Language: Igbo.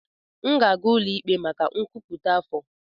M ga-aga ụlọ ikpe maka nkwupụta afọ.